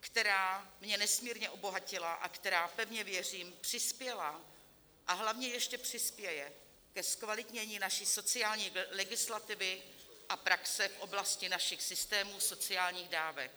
která mě nesmírně obohatila a která - pevně věřím - přispěla, a hlavně ještě přispěje ke zkvalitnění naší sociální legislativy a praxe v oblasti našich systémů sociálních dávek.